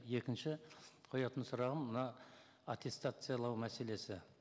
екінші қоятын сұрағым мына аттестациялау мәселесі